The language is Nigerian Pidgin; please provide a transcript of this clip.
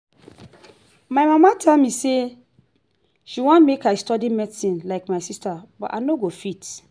my mama tell me say she wan make i study medicine like my sisters but i no go fit